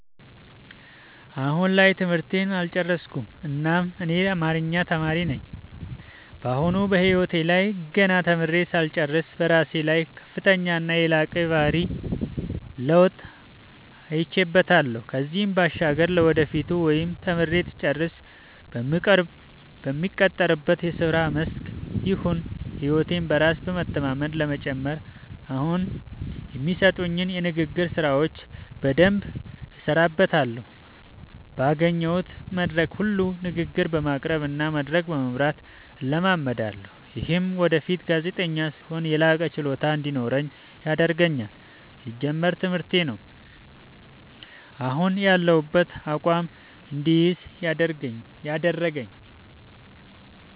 አሁን ላይ ትምህርቴን አልጨረስኩም እናም እኔ አማሪኛ ተማሪ ነኝ በአሁኑ በህይወቴ ላይ ገና ተምሬ ሳልጨርስ በራሴ ላይ ከፍተኛና የላቀ የባህሪ ለውጥ አይቼበታለው ከዚህም ባሻገር ለወደፊቱ ወይም ተምሬ ስጨርስ በምቀጠርበት የስራ መስክ ይሁን ህይወቴ በራስ በመተማመን ለመጨመር አሁኒ የሚሰጡኝን የንግግር ስራዎች በደምብ እሠራበታለሁ ባገኘሁት መድረክ ሁሉ ንግግር በማቅረብ እና መድረክ በመምራት እለማመዳለሁ። ይምህም ወደፊት ጋዜጠኛ ስሆን የላቀ ችሎታ እንዲኖረኝ ያደርገኛል። ሲጀመር ትምህርቴ ነው። አሁን ያሁበትን አቋም እድይዝ ያደረገኝ።